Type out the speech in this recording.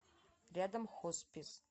рядом хоспис